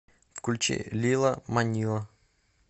включи лила манила